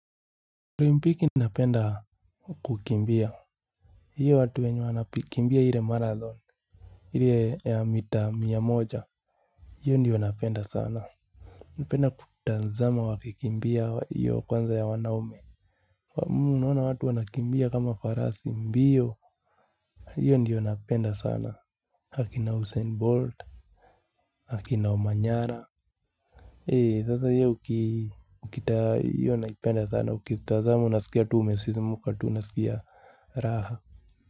Olimpiki napenda kukimbia. Hiyo watu wenye wanakimbia ile Marathon ile ya mita mia moja. Hiyo ndiyo napenda sana. Napenda kutazama wakikimbia hiyo kwanza ya wanaume. Mmh unaona watu wanakimbia kama farasi mbiyo. Hiyo ndiyo napenda sana akina usain Bolt akina Omanyala. Hei sasa hiyo ukitaa hiyo napenda sana ukitazama unasikia tu ume sisimuka tu unasikia raha Muzika.